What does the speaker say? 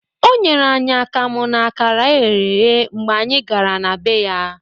O nyere anyị akamụ na akara eghere eghe mgbe anyị gara na bee ya